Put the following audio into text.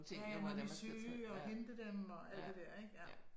Ja ja når de er syge og hente dem og alt det der ik ja